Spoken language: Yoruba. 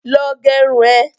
Lọ gerun ẹ!